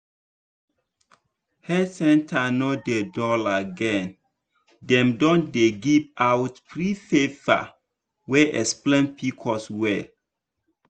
health center no dey dull again dem don dey give out free paper wey explain pcos well.